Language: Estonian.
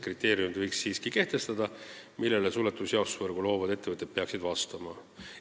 Siiski võiks kehtestada kriteeriumid, millele suletud jaotusvõrku loovad ettevõtted peaksid vastama.